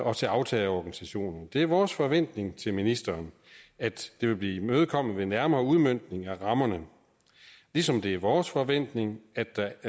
og til aftagerorganisationerne det er vores forventning til ministeren at det vil blive imødekommet ved nærmere udmøntning af rammerne ligesom det er vores forventning at der